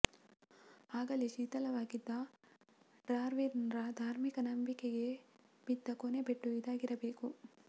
ಆಗಲೇ ಶಿಥಲವಾಗಿದ್ದ ಡಾರ್ವಿನ್ರ ಧಾರ್ಮಿಕ ನಂಬಿಕೆಗೆ ಬಿದ್ದ ಕೊನೆ ಪೆಟ್ಟು ಇದಾಗಿರಬೇಕು